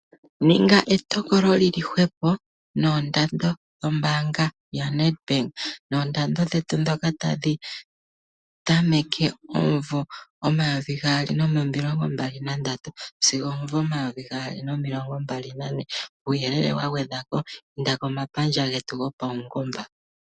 Ninga etokolo lili hwepo noondando dhetu dho mbaanga ya Nadbank. Noondando dhetu ndhoka ta dhi tameke omumvo omayovi gaali nomilongo mbali na ndatu, sigo omvo omayovi gaali nomilongo mbali nane, uuyelele wagwedhwapo, inda komapandja getu go paungomba.